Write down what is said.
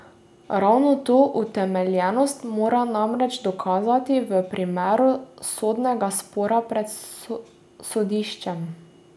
Ravno to utemeljenost mora namreč dokazati v primeru sodnega spora pred sodiščem.